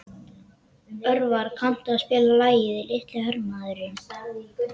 Örvar, kanntu að spila lagið „Litli hermaðurinn“?